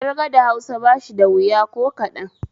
Ƙirga da Hausa bashi da wuya ko kaɗan